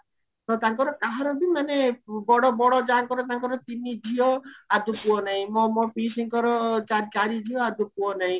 ତ ତାଙ୍କର କାହାର ବି ମାନେ ବଡ ବଡ ଯାଆଙ୍କର ତାଙ୍କର ତିନି ଝିଅ ଆଦୌ ପୁଅ ନାହିଁ ମୋ ପିସୀଙ୍କର ଚାରି ଝିଅ ଆଦୌ ପୁଅ ନାହିଁ